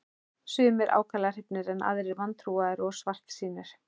Sumir ákaflega hrifnir en aðrir vantrúaðir og svartsýnir.